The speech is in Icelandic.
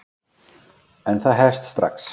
En það hefst strax.